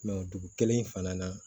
dugu kelen in fana na